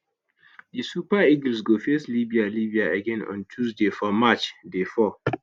di super eagles go face libya libya again on tuesday for match day four